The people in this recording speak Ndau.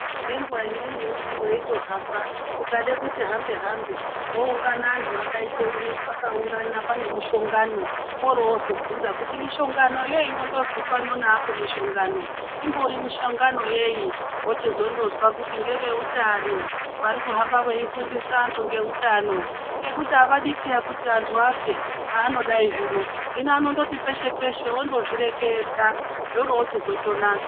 Ngenguwa imweni unoti weihamba ukade kuti hambe hambe woungana vantu vakaungana pane mushongano ,woro wozobvunza kuti mushongano unondonzi pano neapo mishongano umbori mushongano yeyi ,worozwa kuti ndewe utano vari kuhamba veyifundisa vanhu ngeutano, ngekuti havadi kuti vantu vafe .Havanodai zvino hino vandonoti peshe peshe vanozvireketa zvoro zvochizotonaka.